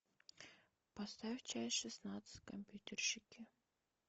поставь часть шестнадцать компьютерщики